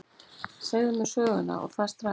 Segðu mér söguna, og það strax.